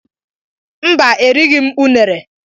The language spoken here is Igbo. Mba, erighị m unere.